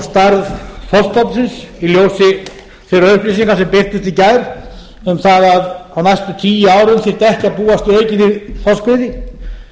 í ljósi þeirra upplýsinga sem birtust í gær um það að á næstu tíu árum þyrfti ekki að búast við neinni þorskveiði